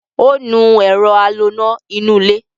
Ó nu ẹ̀rọ a lo ná inú ilé